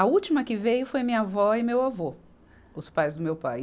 A última que veio foi minha avó e meu avô, os pais do meu pai.